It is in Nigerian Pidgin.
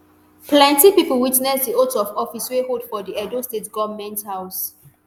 plenty pipo witness di oath of office wey hold for di edo state goment house